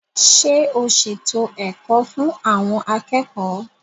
Ṣé o ṣètò ẹ̀kọ́ fún àwọn akẹ́kọ̀ọ́?